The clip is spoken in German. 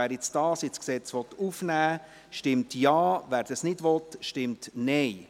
Wer diesen Artikel so ins Gesetz aufnehmen will, stimmt Ja, wer das nicht will, stimmt Nein.